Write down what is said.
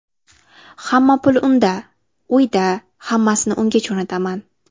Hamma pul unda, uyda, hammasini unga jo‘nataman.